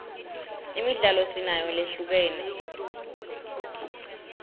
imidlalo sinayo lehlukene